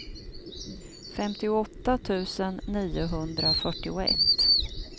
femtioåtta tusen niohundrafyrtioett